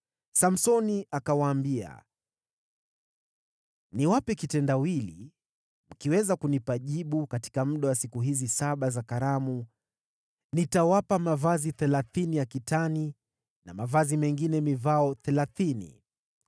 Samsoni akawaambia, “Niwape kitendawili, mkiweza kunipa jibu katika muda wa siku hizi saba za karamu, nitawapa mavazi thelathini ya kitani na mavazi mengine mivao thelathini.